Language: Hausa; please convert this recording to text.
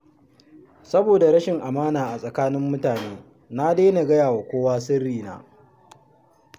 Saboda rashin amana a tsakanin mutane na daina gaya wa kowa sirrina